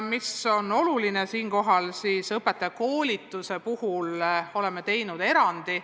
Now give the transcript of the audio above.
Me oleme õpetajakoolituse puhul teinud erandi.